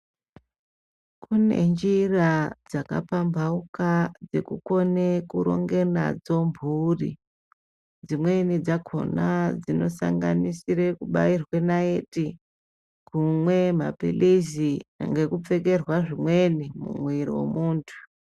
Kune njira dzakapamhpauka, dzekukone kuronge nadzo mphuri, Dzimweni dzakhona dzinosanganisire kubairwe naiti kumwe maphilizi, ngekupfekerwa zvimweni mumwiiri wemuntu.